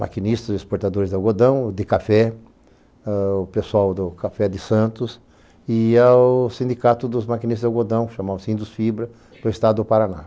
maquinistas exportadores de algodão, de café, o pessoal do Café de Santos e ao sindicato dos maquinistas de algodão, chamam-se Indusfibra, do estado do Paraná.